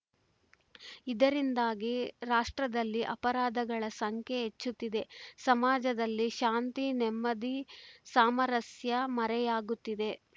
ಇದರಿಂದಾಗಿ ರಾಷ್ಟ್ರದಲ್ಲಿ ಅಪರಾಧಗಳ ಸಂಖ್ಯೆ ಹೆಚ್ಚುತ್ತಿದೆ ಸಮಾಜದಲ್ಲಿ ಶಾಂತಿ ನೆಮ್ಮದಿ ಸಾಮರಸ್ಯ ಮರೆಯಾಗುತ್ತಿದೆ